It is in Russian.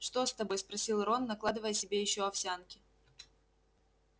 что с тобой спросил рон накладывая себе ещё овсянки